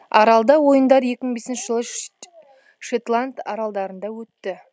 аралдар ойындар екі мың бесінші жылы шетланд аралдарында өтті